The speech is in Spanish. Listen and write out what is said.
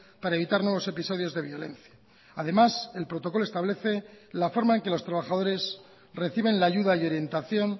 para evitar nuevos episodios de violencia además el protocolo establece la forma en que los trabajadores reciben la ayuda y orientación